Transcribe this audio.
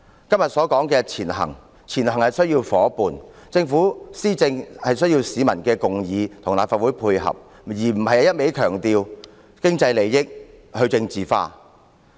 今天所說的"前行"需要有夥伴，政府施政也需要市民共議及立法會的配合，而非一味強調經濟利益和去政治化。